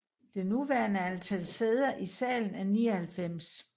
Det nuværende antal sæder i salen er 99